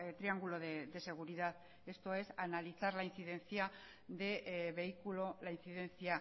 triangulo de seguridad esto es analizar la incidencia de vehículo la incidencia